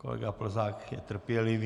Kolega Plzák je trpělivý.